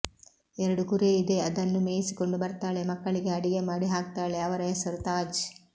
ಎರಡು ಕುರಿ ಇದೆ ಅದನ್ನ ಮೇಯಿಸಿಕೊಂದು ಬರ್ತಾಳೆ ಮಕ್ಕಳಿಗೆ ಅಡಿಗೆ ಮಾಡಿ ಹಾಕ್ತಾಳೆ ಅವರ ಹೆಸರು ತಾಜ್